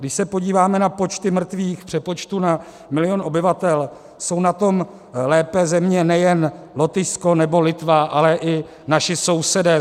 Když se podíváme na počty mrtvých v přepočtu na milion obyvatel, jsou na tom lépe země nejen Lotyšsko nebo Litva, ale i naši sousedé.